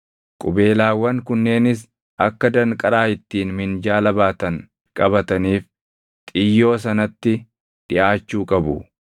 Qubeelaawwan kunneenis akka danqaraa ittiin minjaala baatan qabataniif xiyyoo sanatti dhiʼaachuu qabu.